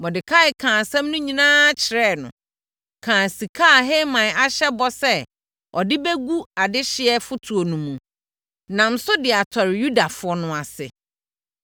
Mordekai kaa asɛm no nyinaa kyerɛɛ no, kaa sika a Haman ahyɛ bɔ sɛ ɔde bɛgu adehyeɛ fotoɔ no mu, nam so de atɔre Yudafoɔ no ase.